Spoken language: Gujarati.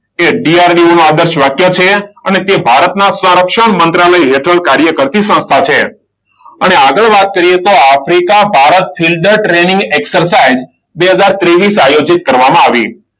એ DRDO નું આદર્શ વાક્ય છે. અને તે ભારતના સંરક્ષણ મંત્રાલય હેઠળ કાર્ય કરતી સંસ્થા છે. અને આગળ વાત કરીએ તો Africa Bharat field training exercise બે હજાર ત્રેવીસ આયોજિત કરવામાં આવી.